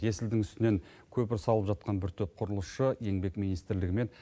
есілдің үстінен көпір салып жатқан бір топ құрылысшы еңбек министрлігі мен